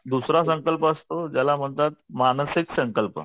दुसरा संकल्प असतो त्याला म्हणतात मानसिक संकल्प